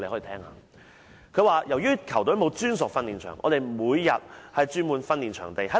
他說："由於球隊沒有專屬訓練場，我們每天須轉換訓練場地。